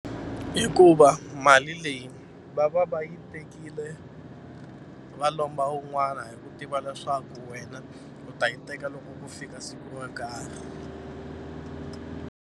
Hikuva mali leyi va va va yi tekile va lomba wun'wana hi ku tiva leswaku wena u ta yi teka loko ku fika siku ro karhi.